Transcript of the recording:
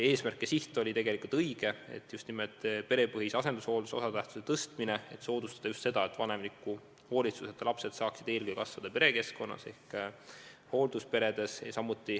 Eesmärk ja siht oli tegelikult õige: just nimelt perepõhise asendushoolduse osatähtsuse tõstmine, et soodustada seda, et vanemliku hoolitsuseta lapsed saaksid eelkõige kasvada perekeskkonnas, hooldusperes.